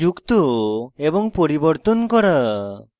carbon chain যুক্ত এবং পরিবর্তন করা